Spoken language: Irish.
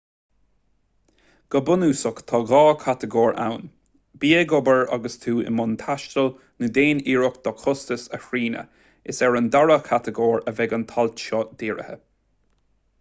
go bunúsach tá dhá chatagóir ann bí ag obair agus tú i mbun taistil nó déan iarracht do chostais a shrianadh is ar an dara chatagóir a bheidh an t-alt seo dírithe